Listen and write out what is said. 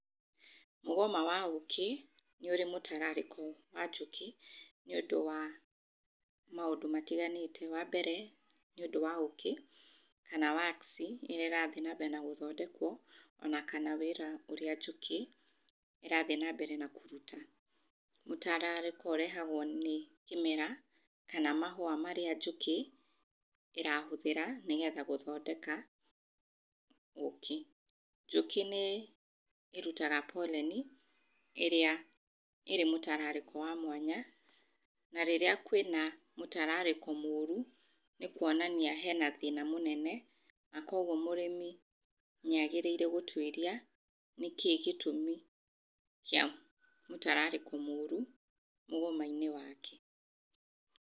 Mũgoma wa ũkĩ, nĩ ũrĩ mũtararĩko wa njũkĩ nĩ ũndũ wa maũndũ matiganĩte. Wa mbere, nĩ ũndũ wa ũkĩ kana wax ĩrĩa ĩrathiĩ na mbere na gũthondekwo, ona kana wĩra ũrĩa njũkĩ ĩrathiĩ na mbere na kũruta. Mũtararĩko ũrehagwo nĩ kĩmera kana mahũa marĩa njũkĩ ĩrahũthĩra gũthondeka ũkĩ. Njũkĩ nĩ ĩrutaga boreni ĩrĩa ĩrĩ mũtarararĩko wa mwanya, na rĩrĩa kũrĩ mũtararĩko mũru nĩkuonania hena thĩna mũnene na kuoguo mũrĩmi nĩagĩrĩire gũtuĩria nĩkĩĩ gĩtũmi gĩa mũtararĩko mũru mũgoma-inĩ wake.